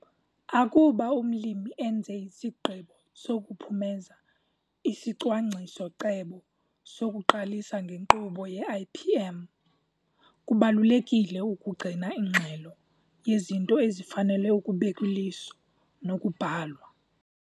Akuba umlimi enze isigqibo sokuphumeza isicwangciso-cebo sokuqalisa ngenkqubo yeIPM, kubalulekile ukugcina ingxelo yezinto ezifanele ukubekw' iliso nokubhalwa.